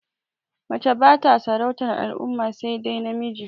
Mace bata sarautar al'umma sai dai namiji